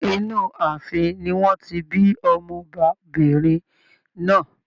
Inú ààfin ni wọn ti bí Ọmọ ọbabìnrin náà.